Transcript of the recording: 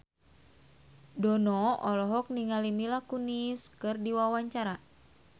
Dono olohok ningali Mila Kunis keur diwawancara